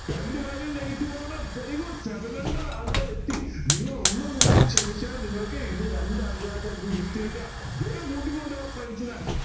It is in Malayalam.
രണ്ട് value ഉം negative ആണ് very good seven hundred ആൾകാർ എത്തി നിങ്ങൾ ഒന്നുകൂടി ശ്രമിച്ചാൽ നിങ്ങൾക്ക് ഇന്ന് രണ്ടാൾക്കാർക്ക് ആയിരിക്കും gift കിട്ടുക വേഗം കൂടി കൊണ്ടുവാ friends നെ